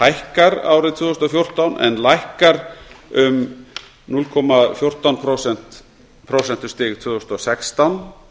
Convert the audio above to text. hækkar árið tvö þúsund og fjórtán en lækkar um núll komma fjórtán prósentustig tvö þúsund og sextán